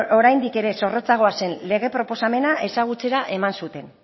oraindik ere zorrotzagoa zen lege proposamena ezagutzera eman zuten